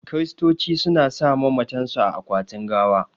Kiristoci su na sa mamatan su a akwatin gawa